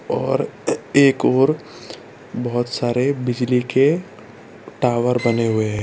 और एक ओर बहोत सारे बिजली के टॉवर बने हुएं हैं।